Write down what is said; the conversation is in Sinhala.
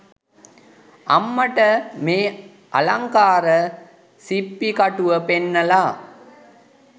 අම්මට මේ අලංකාර සිප්පි කටුව පෙන්නලා